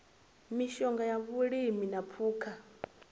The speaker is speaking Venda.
mishonga ya vhulimi na phukha